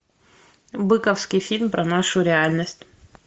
быковский фильм про нашу реальность